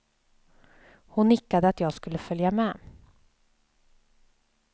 Hon nickade att jag skulle följa med.